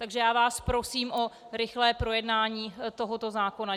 Takže já vás prosím o rychlé projednání tohoto zákona.